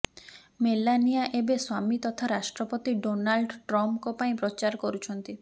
Melania ଏବେ ସ୍ୱାମୀ ତଥା ରାଷ୍ଟ୍ରପତି ଡୋନାଲ୍ଡ ଟ୍ରମ୍ପଙ୍କ ପାଇଁ ପ୍ରଚାର କରୁଛନ୍ତି